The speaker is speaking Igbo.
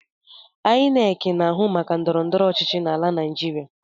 Ainek na-ahụ maka ndọrọndọrọ ochichi n’ala naijiria